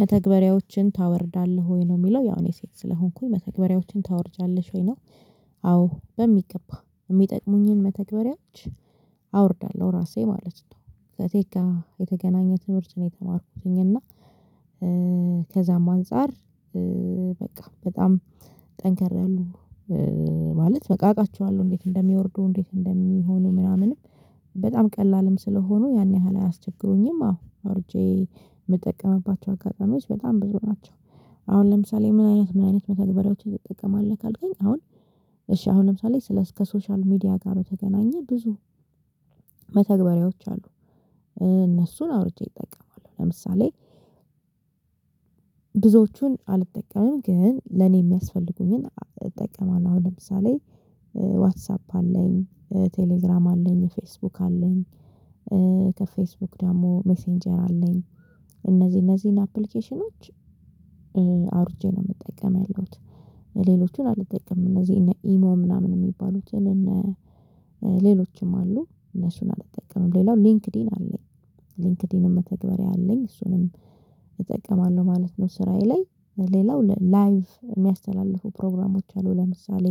መተግበሪያዎችን ታወርዳለህ ወይ ነው የሚለው ያው እኔ ሴት ስለሆንኩኝ መተግበሪያዎችን ታወርጃለሽ ወይ ነው? አዎ በሚገባ እሚጠቅሙኝን መተግበሪያዎች አወርዳለሁ ራሴ ማለት ነው። ከቴክ የተገናኘ ትምህርት ነው የተማርኩትኝ እና ከዛም አንፃር። በቃ በጣም ጠንክር ያሉ ማለት በቃ አውቃቸዋለሁ እንዴት እንደሚወርዱ እንዴት እንደሚሆኑ ምናምንም በጣም ቀላልም ስለሆኑ ያን ያህል አያስቸግሩኝም። አዎ አውርጄ ምጠቀምባቸው አጋጣሚዎች በጣም ብዙ ናቸው። አሁን ለምሳሌ ምን አይነት ምን አይነት መተግበሪያዎችን ትጠቀማለህ ካልከኝ። አሁን እሺ አሁን ለምሳሌ ስለ ከሶሻል ሚዲያ ጋር በተገናኘ ብዙ መተግበሪያዎች አሉ። እነሱን አውርጄ እጠቀማለሁ ለምሳሌ ብዙዎቹን አልጠቀምም ግን ለኔ ሚያስፈልጉኝን እጠቀማለው። አሁን ለምሳሌ ዋትሳፕ አለኝ ቴሌግራም አለኝ ፌስቡክ አለኝ። ከፌስቡክ ደግሞ ሜሴንጀር አለኝ። እነዚህ እነዚህን አፕሊኬሽኖች አውርጄ ነው ምጠቀም ያለውት። ሌሎቹን አልጠቀምም እነዚህ እነ ኢሞ ምናምን የሚባሉትን እነ ሌሎችም አሉ እነሱን አልጠቀምም። ሌላው ሊንክዲን አለኝ ሊንክዲን መተግበሪያ አለኝ እሱንም እጠቀማለሁ ማለት ነው። ስራዬ ላይ ሌላው ላይቭ እሚያስተላልፉ ፕሮግራሞች አሉ ለምሳሌ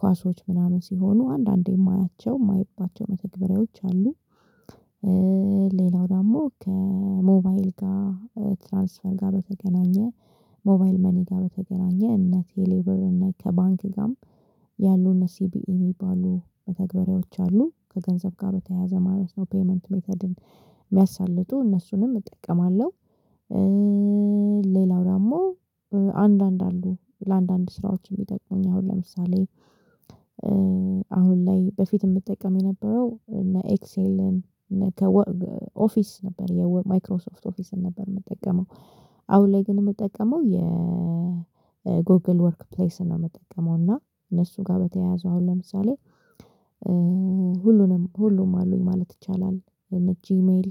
ኳሶች ምናምን ሲሆኑ አንዳንዴ ማያቸው ማይባቸው መተግበሪያዎች አሉ። ሌላው ደግሞ ከሞባይል ጋር ትራንስፈር ጋር በተገናኘ። ሞባይል መኒ ጋር በተገናኘ እነ ቴሌብር እነ ከባንክ ጋርም ያሉ እነ ሲቢኢ ሚባሉ መተግበሪዎች አሉ ከገንዘብ ጋር በተያያዘ ማለት ነው ፔይመንት ሜተድን ሚያሳልጡ እነሱንም እጠቀማለሁ። ሌላው ደግሞ አንድ አንድ አሉ ለአንዳንድ ስራዎች እሚጠቅሙኝ አሁን ለምሳሌ። አሁን ላይ በፊት እምጠቀም የነበረው እነ ኤክሴልን እነ ከወር ኦፊስ ነበር የወር ማይክሮሶፍት ኦፊስን ነበር ምጠቀመው። አሁን ላይ ግን ምጠቀመው የጎግል ወርክ ፕሌስ ነው። ምጠቀመው እና እነሱ ጋር በተያያዘ አሁን ለምሳሌ ሁሉንም ሁሉም አሉኝ ማለት ይቻላል። እነ ጂሜል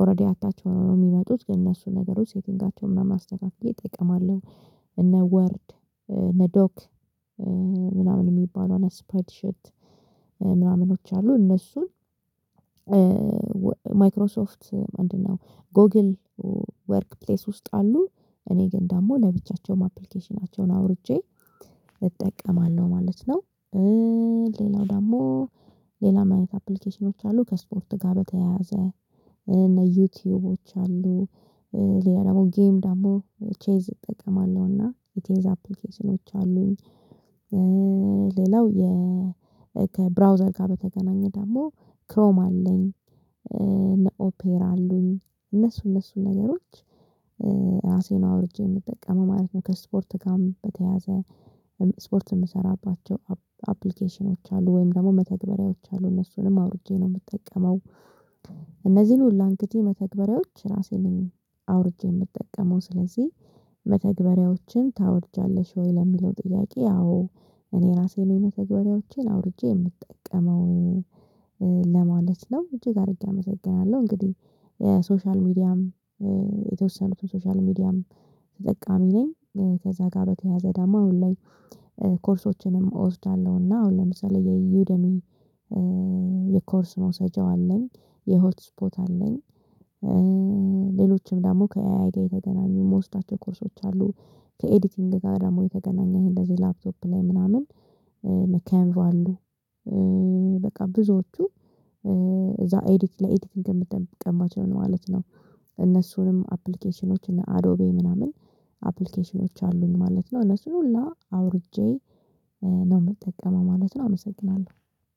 ኦረዲ አታች ሆነው ነው ሚመጡት ግን እነሱን ነገሮች ሴቲንጋቸው ምናምን አስተካክዬ እጠቀማለሁ። ወርድ እነ ዶክ ምናምን እሚባል እነ ስፕራይድ ሺት ምናምኖች አሉ እነሱን ማይክሮሶፍት ምንድ ነው? ጎግል ወርክ ፕሌስ ውስጥ አሉ እኔ ግን ደግሞ ለብቻቸውም አፕሊኬሽናቸውን አውርጄ እጠቀማለሁ ማለት ነው። ሌላው ደግሞ ሌላ ምን ዐይነት አፕሊኬሽኖች አሉ ከስፖርት ጋር በተያያዘ። እነ ዩቱዩቦች አሉ። ሌላ ደግሞ ጌም ደግሞ ቼዝ እጠቀማለሁና የቼዝ አፕሊኬሽኖች አሉኝ። ሌላው የ ከብራውዘር ጋር በተገናኘ ደግሞ ክሮም አለኝ። እነ ኦፔራ አሉኝ እነሱ እነሱ ነገሮች ራሴ ነው አውርጄ ምጠቀመው ማለት ነው። ከስፖርት ጋር በተያያዘ። ስፖርት ምሰራባቸው አፕ አፕሊኬሽኖች አሉ ወይም ደግሞ መተግበሪያዎች አሉ እነሱንም አውርጄ ነው ምጠቀመው። እነዚህን ሁላ እንግዲ መተግበሪያዎች ራሴ ነኝ አውርጄ ምጠቀመው። ስለዚህ መተግበሪያዎችን ታወርጃለሽ ወይ ለሚለው ጥያቄ። ያው እኔ ራሴ ነኝ መተግበሪያዎችን አውርጄ ምጠቀመው ለማለት ነው። እጅግ አድርጌ አመሰግናለሁ። እንግዲህ የሶሻል ሚዲያም የተወሰኑት ሶሻል ሚዲያም ተጠቃሚ ነኝ። ከዛ ጋር በተያያዘ ደሞ አሁን ላይ። ኮርሶችንም እወስዳለሁ እና አሁን ለምሳሌ የዩደሚ የኮርስ መውሰጃው አለኝ የሆትስፖት አለኝ። ሌሎችም ደግሞ ከኤአይ ጋር የተገናኙ ምወስዳቸው ኮርሶች አሉ። ከኤዲቲንግ ጋር ደግሞ የተገናኘ ይሄን እንደዚህ ላፕቶፕ ላይ ምናምን እነ ካንቫ በቃ ብዙዎቹ እዛ ኤዲት ላይ ኤዲቲንግ እምጠቀማቸው ነው ማለት ነው። እነሱንም አፕሊኬሽኖች እነ አዶቤ ምናምን አፕሊኬሽኖች አሉኝ ማለት ነው። ለሱ ሁላ አውርጄ ነው ምጠቀመው ማለት ነው። አመሰግናለሁ